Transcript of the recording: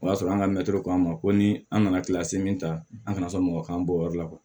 O y'a sɔrɔ an ka mɛtiri ko k'a ma ko ni an nana min ta an kana sɔn mɔgɔ k'an bɔ o yɔrɔ la